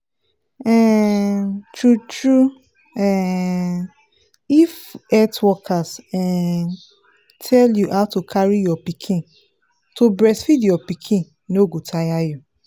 um true true um if health workers um tell you how to take carry your pikin to breastfeed your pikin no go tire you